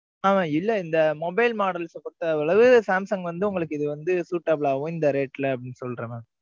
ஆ, இல்ல, இந்த mobile models அ பொறுத்த அளவு, சாம்சங் வந்து, உங்களுக்கு இது வந்து, suitable ஆகும், இந்த rate ல, அப்படின்னு சொல்றேன் mam